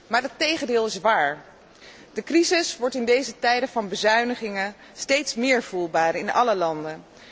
Maar het tegendeel is waar. De crisis wordt in deze tijden van bezuinigingen steeds meer voelbaar in alle landen.